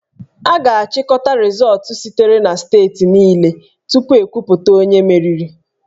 A ga-achịkọta rịzọọtụ sitere na steeti niile tupu ekwuputa onye meriri